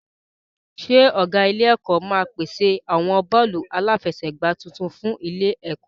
Ṣé ọ̀gá ilé-ẹ̀kọ́ máa pèsè àwọn bọ́ọ̀lù aláfẹsẹ̀gbá tuntun fún ilé-ẹ̀kọ́?